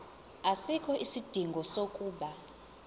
asikho isidingo sokuba